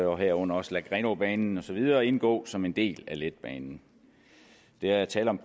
og herunder også lade grenaabanen og så videre indgå som en del af letbanen der er tale om